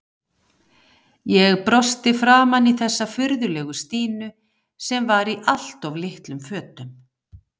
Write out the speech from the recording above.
Ég brosti framan í þessa furðulegu Stínu sem var í allt of litlum fötum.